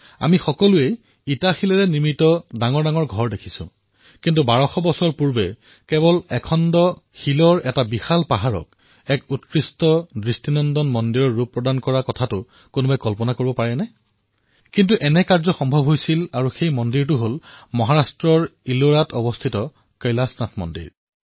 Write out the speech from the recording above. আমি সকলোৱে ইটাপাথৰৰ দ্বাৰা ঘৰ আৰু বিল্ডিং নিৰ্মাণ হোৱা দেখিছোঁ কিন্তু আপুনি কল্পনা কৰিব পাৰেনে যে প্ৰায় বাৰশ বছৰ পূৰ্বে এক বিশাল পাহৰ যি কেৱল এটা শিলৰ পাহাৰ আছিল তাক এক উৎকৃষ্ট বিশাল আৰু অদ্ভুত মন্দিৰৰ ৰূপ প্ৰদান কৰা হল কল্পনা কৰাটো অলপ অসম্ভৱ কিন্তু এনেকুৱা হৈছিল আৰু সেই মন্দিৰটো হল মহাৰাষ্ট্ৰৰ ইলোৰাস্থিত কৈলাশনাথ মন্দিৰ